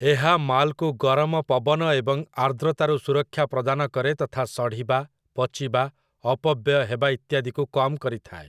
ଏହା ମାଲ୍‌କୁ ଗରମ ପବନ ଏବଂ ଆର୍ଦ୍ରତାରୁ ସୁରକ୍ଷା ପ୍ରଦାନ କରେ ତଥା ସଢ଼ିବା, ପଚିବା, ଅପବ୍ୟୟ ହେବା ଇତ୍ୟାଦିକୁ କମ୍ କରିଥାଏ ।